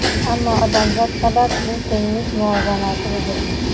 Ammo odamzod sabab bu tenglik muvozanati buzilgan.